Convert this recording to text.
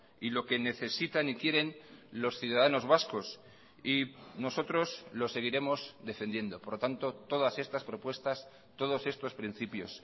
y lo que necesitan y quieren los ciudadanos vascos y nosotros lo seguiremos defendiendo por lo tanto todas estas propuestas todos estos principios